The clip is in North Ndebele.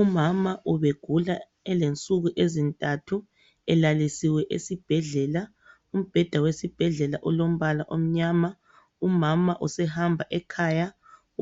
Umama ubegula elensuku ezintathu elalisiwe esibhedlela, umbheda wesibhedlela olombala omnyama, umama usehamba ekhaya